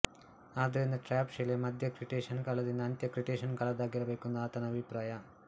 ಆದ್ದರಿಂದ ಟ್ರ್ಯಾಪ್ ಶಿಲೆ ಮಧ್ಯ ಕ್ರಿಟೇಷಸ್ ಕಾಲದಿಂದ ಅಂತ್ಯ ಕ್ರಿಟೇಷಸ್ ಕಾಲದ್ದಾಗಿರಬೇಕೆಂದು ಆತನ ಅಭಿಪ್ರಾಯ